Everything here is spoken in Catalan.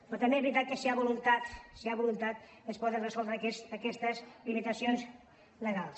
però també és veritat que si hi ha voluntat si hi ha voluntat es poden resoldre aquestes limitacions legals